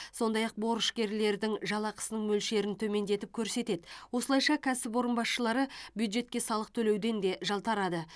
сондай ақ борышкерлердің жалақысының мөлшерін төмендетіп көрсетеді осылайша кәсіпорын басшылары бюджетке салық төлеуден де жалтарады